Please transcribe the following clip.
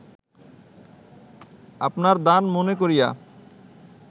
আপনার দান মনে করিয়া